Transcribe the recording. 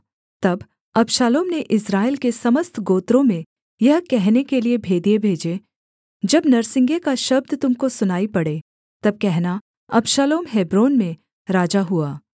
तब अबशालोम ने इस्राएल के समस्त गोत्रों में यह कहने के लिये भेदिए भेजे जब नरसिंगे का शब्द तुम को सुनाई पड़े तब कहना अबशालोम हेब्रोन में राजा हुआ